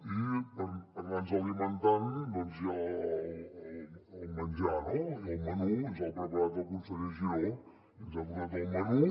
i per anar nos alimentant doncs hi ha el menjar no i el menú ens l’ha preparat el conseller giró i ens ha portat el menú